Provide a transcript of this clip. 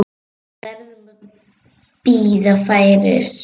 Við verðum að bíða færis.